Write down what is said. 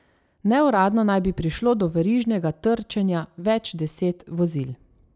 Neuradno naj bi prišlo do verižnega trčenja več deset vozil.